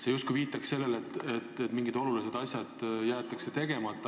See justkui viitab sellele, et mingid olulised asjad jäetakse tegemata.